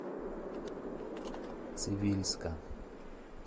цивильска